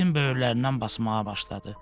İtin böyürlərindən basmağa başladı.